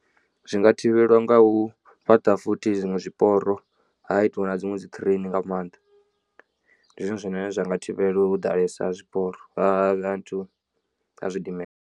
Zwi nga thivhelwa nga u fhaṱa futhi zwiṅwe zwiporo ha itiwa na dziṅwe dzi train nga maanḓa ndi zwone zwine zwa nga thivhela u ḓalesa ha zwiporo ha zwidimela.